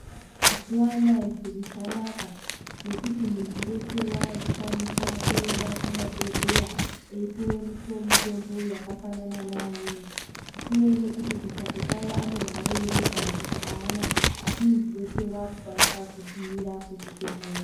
Yaa mazuwa anaya zviro zvanaka nekuti muntu weshe wakukwanisa kuyenda kumabhedhleya eipuwa mutombo yakafanana neamweni zvisinei nekuti kumbatso kwavo anemare ere kana kuti aana asi muntu weshe wakukwanisa kugumira kuzvibhedhleya.